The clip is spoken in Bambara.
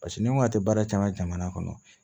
Paseke ni n ko a tɛ baara caman kɔnɔ